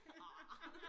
Ah